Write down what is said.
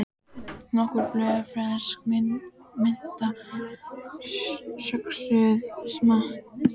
Nokkur blöð fersk mynta söxuð smátt